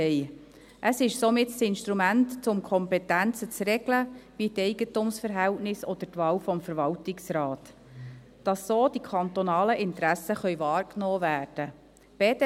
Dieses ist somit das Instrument, um die Kompetenzen zu regeln – wie die Eigentumsverhältnisse oder die Wahl des Verwaltungsrats –, sodass die kantonalen Interessen wahrgenommen werden können.